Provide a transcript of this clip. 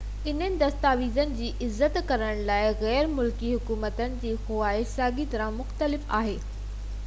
انهن دستاويزن جي عزت ڪرڻ لاءِ غير ملڪي حڪومتن جي خواهش ساڳي طرح مختلف آهي